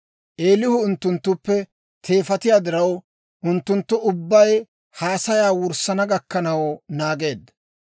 Eelihu unttunttuppe teefatiyaa diraw, unttunttu ubbay haasayaa wurssana gakkanaw naageedda.